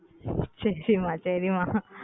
செரி மா செரி மா